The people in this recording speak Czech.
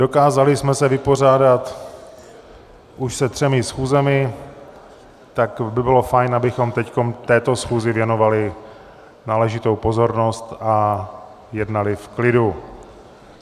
Dokázali jsme se vypořádat už se třemi schůzemi, tak by bylo fajn, abychom teď této schůzi věnovali náležitou pozornost a jednali v klidu.